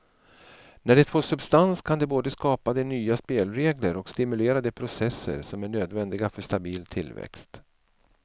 När det får substans kan det både skapa de nya spelregler och stimulera de processer som är nödvändiga för stabil tillväxt.